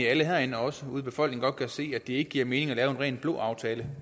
at alle herinde og også ude i befolkningen godt kan se at det ikke giver mening at lave en ren blå aftale